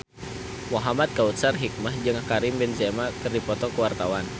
Muhamad Kautsar Hikmat jeung Karim Benzema keur dipoto ku wartawan